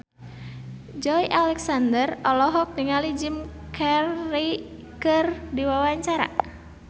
Joey Alexander olohok ningali Jim Carey keur diwawancara